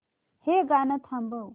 हे गाणं थांबव